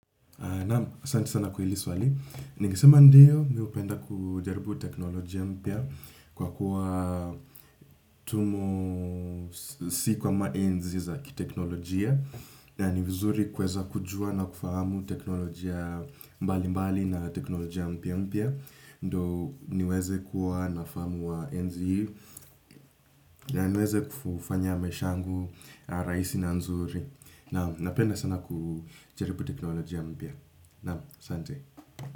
Naam asante sana kwa hili swali. Ningesema ndiyo, mi hupenda kujaribu teknolojia mpya kwa kuwa tumo si kwa maenzi za kiteknolojia na ni vizuri kuweza kujua na kufahamu teknolojia mbali mbali na teknolojia mpya mpya ndo niweze kuwa nafahamu wa enzi hii na niweze kufanya maisha yangu rahisi na nzuri. Naam, napenda sana kujaribu teknolojia mpya. Naam, asanti.